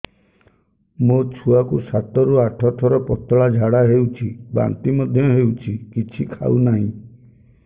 ମୋ ଛୁଆ କୁ ସାତ ରୁ ଆଠ ଥର ପତଳା ଝାଡା ହେଉଛି ବାନ୍ତି ମଧ୍ୟ୍ୟ ହେଉଛି କିଛି ଖାଉ ନାହିଁ